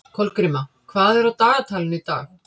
Kolgríma, hvað er á dagatalinu í dag?